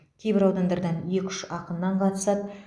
кейбір аудандардан екі үш ақыннан қатысады